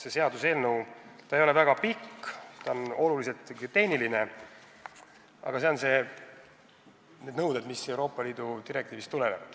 See seaduseelnõu ei ole väga pikk, olulisel määral on see ikkagi tehniline, aga jah, need nõuded tulenevad Euroopa Liidu direktiivist.